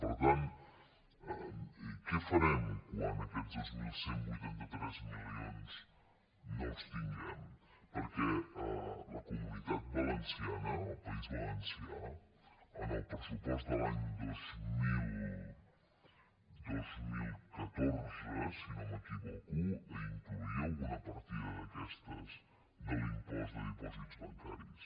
per tant què farem quan aquests dos mil cent i vuitanta tres mili·ons no els tinguem perquè la comunitat valenciana el país valencià en el pressupost de l’any dos mil catorze si no m’equivoco incloïa alguna partida d’aquestes de l’impost de dipòsits bancaris